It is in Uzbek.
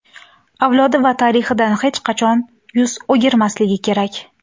avlodi va tarixidan hech qachon yuz o‘girmasligi kerak.